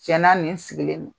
Tiɲɛna nin sigilen don